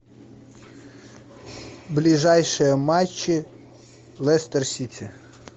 ближайшие матчи лестер сити